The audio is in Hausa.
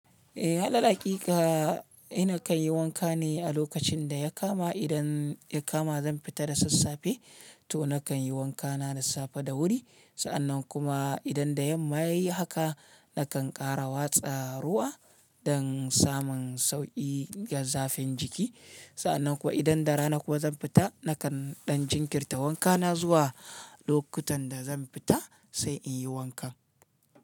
Eh, halalaƙiƙa ina kan yi wanka ne a lokacin da ya kama idan ya kama zan fita da sassafe to na kan yi wanka na da safe da wuri. Sa'annan kuma idan da yamma ya yi haka, na kan ƙara watsa ruwa don samun sauƙi ga zafin jiki. Sa'annan kuwa idan da rana kuwa zan fita, na kan ɗan jinkirta wanka na zuwa lokutan da zan fita sai in yi wanka.